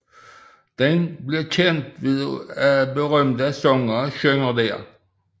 Den bliver kendt ved at berømte sangere synger der